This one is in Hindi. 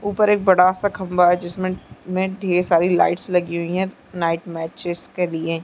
ऊपर एक बड़ा सा खम्बा है जिसमे ढेर सारी लाइटस लगी हुई है नाईट मैचेस के लिए--